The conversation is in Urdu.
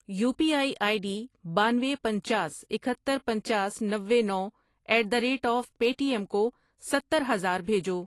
You P I I D بانوے، پنچاس، اکہتر، پنچاس، نوے، نو at the rate of Paytm کو ستر ہزار بھیجو۔